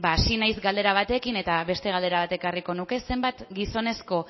hasi naiz galdera batekin eta beste galdera bat ekarriko nuke zenbat gizonezko